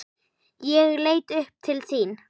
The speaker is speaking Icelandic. Ég leit upp til þín.